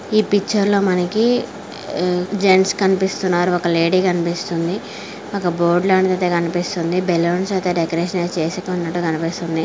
ఈ పిక్చర్ లో మనకి జెంట్స్ కనిపిస్తున్నారుఒక లేడీ కనిపిస్తుంది ఒక బోర్డు లాంటిది ఐతే కనిపిస్తుందిబెలూన్స్ ఐతే డెకరేషన్ చేసికున్నటు కనిపిస్తుంది.